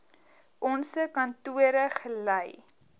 onse kantore gelei